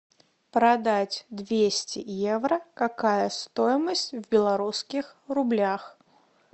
продать двести евро какая стоимость в белорусских рублях